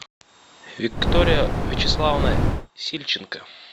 виктория вячеславовна сильченко